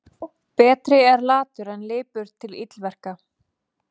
Betri er latur en lipur til illverka.